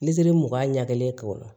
mugan ɲagelen k'o